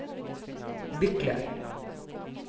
Bykle